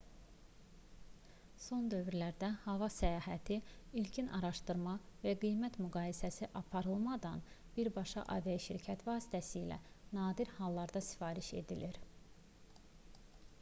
son dövrlərdə hava səyahəti ilkin araşdırma və qiymət müqayisəsi aparılmadan birbaşa aviaşirkət vasitəsilə nadir hallarda sifariş edilir